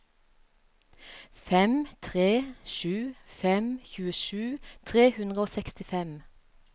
fem tre sju fem tjuesju tre hundre og sekstifem